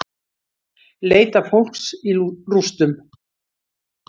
Leita fólks í rústum